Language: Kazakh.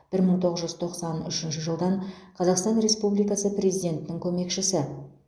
бір мың тоғыз жүз тоқсан үшінші жылдан қазақстан республикасы президентінің көмекшісі